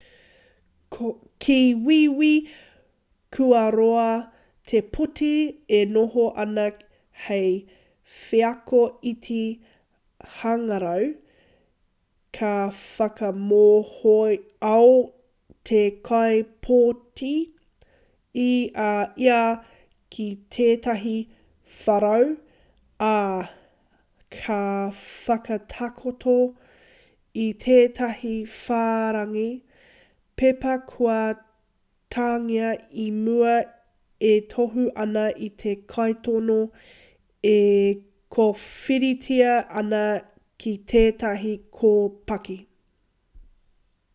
ki wīwī kua roa te pōti e noho ana hei wheako iti-hangarau ka whakamohoao te kaipōti i a ia ki tētahi wharau ā ka whakatakoto i tētahi whārangi pepa kua tāngia i mua e tohu ana i te kaitono e kōwhiritia ana ki tētahi kōpaki